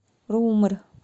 румер